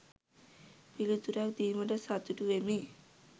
පිළිතුරක් දීමට සතුටු වෙමි.